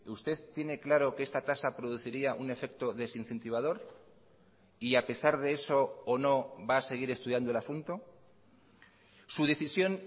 usted tiene claro que esta tasa produciría un efecto desincentivador y a pesar de eso o no va a seguir estudiando el asunto su decisión